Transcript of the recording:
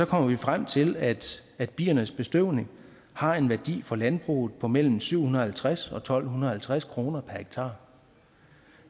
kommer vi frem til at at biernes bestøvning har en værdi for landbruget på mellem syv hundrede og halvtreds og tolv halvtreds kroner per hektar